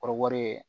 Kɔrɔbɔrɔ ye